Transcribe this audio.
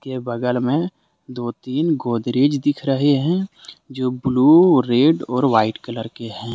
के बगल में दो तीन गोदरेज दिख रहे हैं जो ब्लू रेड और वाइट कलर के हैं।